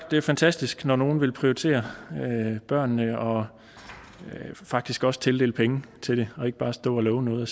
det fantastisk når nogen vil prioritere børnene og faktisk også tildeler penge til det og ikke bare står og lover noget og